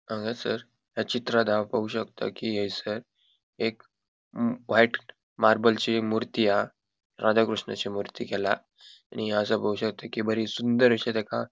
हंगासार या चित्रांत हाव पोवपाक शकता कि एसर एक म व्हाइट मार्बलची मूर्ती हा राधा कृष्णाची मूर्ती केला आणि हंगासार पोवपाक शकता कि बरे सुंदर आशे तका --